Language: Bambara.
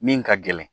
Min ka gɛlɛn